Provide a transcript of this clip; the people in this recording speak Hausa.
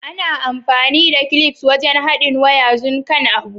Ana amfani da clips wajen haɗin waya zun kan abu.